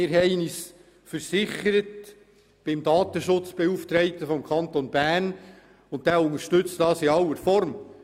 Wir haben uns beim Datenschutzbeauftragten des Kantons Bern rückversichert und er unterstützt dieses Vorgehen in aller Form.